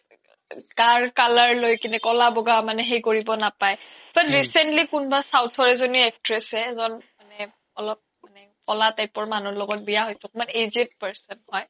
গাৰ color লই কিনে ক্'লা ব্'গা সেই কৰিব নাপাই তৌ recently south ৰ এজ্নী actress এ এজ্ন মানে অলপ ক্'লা type ৰ মানুহ লগত বিয়া হৈছে অকমান aged person হয়